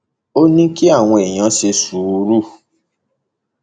ó ní kí àwọn èèyàn ṣe sùúrù